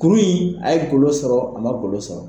Kuru in a ye golo sɔrɔ, a ma golo sɔrɔ.